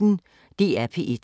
DR P1